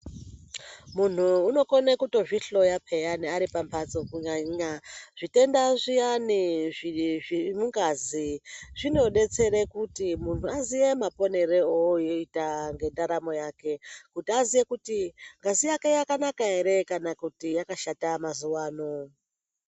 Muntu unokone kutozvihloya peyani aripamhatso kunyanya zvitenda zviyani zviri mungazi. Zvinobetsere kuti muntu aziye maponero ooita ngendaramo yake. Kuti aziye kuti ngazi yake yakanaka ere kana kuti yakashata mazuva ano.